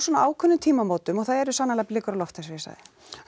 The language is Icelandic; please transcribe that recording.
ákveðnum tímamótum og það eru sannarlega blikur á lofti eins og ég sagði